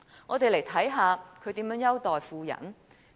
我們看看他如何優待富人。